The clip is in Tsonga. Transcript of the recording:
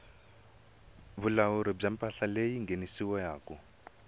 vulawuri bya mpahla leyi nghenisiwaku